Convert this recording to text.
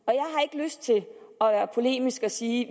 lyst til at være polemisk og sige